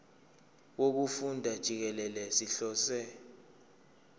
wokufunda jikelele sihlose